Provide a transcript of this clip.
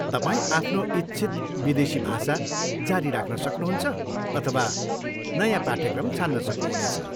तपाईँ आफ्नो इच्छित विदेशी भाषा जारी राख्न सक्नुहुन्छ अथवा नयाँ पाठ्यक्रम छान्न सक्नुहुनेछ।